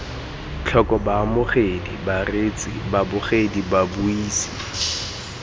tlhoko baamogedi bareetsi babogedi babuisi